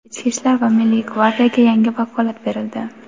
Ichki ishlar va Milliy gvardiyaga yangi vakolat berildi.